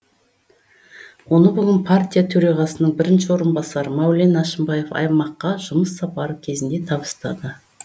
оны бүгін партия төрағасының бірінші орынбасары мәулен әшімбаев аймаққа жұмыс сапары кезінде табыстады